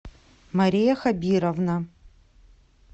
мария хабировна